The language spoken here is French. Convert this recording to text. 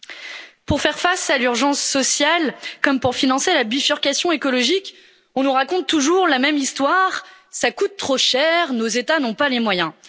Madame la Présidente, pour faire face à l'urgence sociale comme pour financer la bifurcation écologique, on nous raconte toujours la même histoire ça coûte trop cher, nos États n'ont pas les moyens.